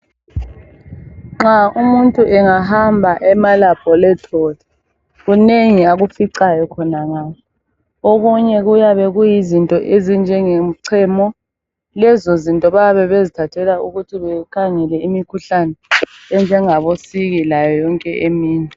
nxa umuntu engahamba ema laboratory kunengi akuficayo khonangale okunye kuyabe kuyizinto ezi njengemchemo lezozinto bayabe bezithathela ukuthi bekhangele imikhuhlane enjengabo siki layo yonke eminye